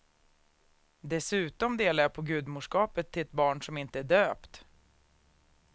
Dessutom delar jag på gudmorskapet till ett barn som inte är döpt.